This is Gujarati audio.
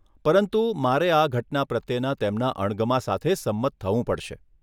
પરંતુ, મારે આ ઘટના પ્રત્યેના તેમના અણગમા સાથે સંમત થવું પડશે.